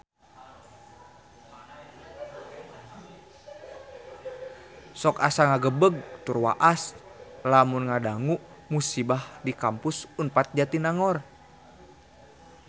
Sok asa ngagebeg tur waas lamun ngadangu musibah di Kampus Unpad Jatinangor